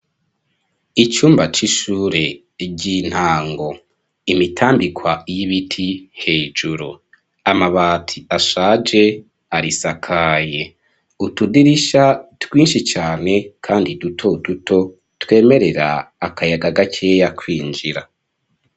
Icumba c'ishure ry'intango, imitambikwa y'ibiti hejuru ,amabati ashaje arisakaye ,utudirisha twinshi cane kandi dutoduto twemerera akayaga gakeya kwinjira.